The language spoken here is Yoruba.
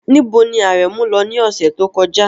Níbo ni Aremu lọ ní ọ̀sẹ̀ tó kọjá?